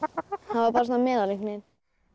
hann var bara svona meðal einhvern veginn